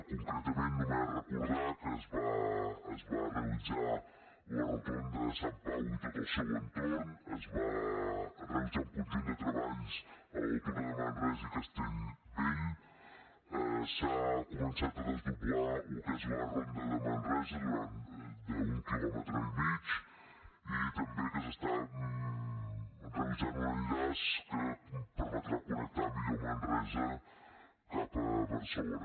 concretament només recordar que es va realitzar la rotonda de sant pau i tot el seu entorn es van realitzar un conjunt de treballs a l’altura de manresa i castellbell s’ha co·mençat a desdoblar el que és la ronda de manresa d’un quilòmetre i mig i també que s’està realitzant un enllaç que permetrà connectar millor manresa cap a barcelona